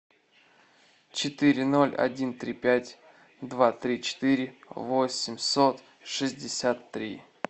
четыре ноль один три пять два три четыре восемьсот шестьдесят три